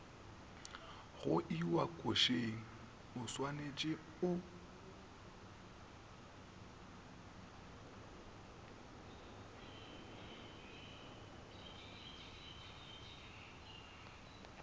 go iwa košeng oswanetše o